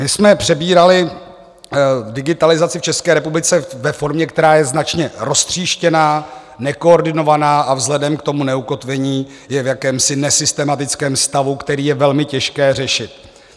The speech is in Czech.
My jsme přebírali digitalizaci v České republice ve formě, která je značně roztříštěná, nekoordinovaná a vzhledem k tomu neukotvení je v jakémsi nesystematickém stavu, který je velmi těžké řešit.